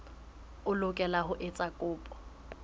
o lokela ho etsa kopo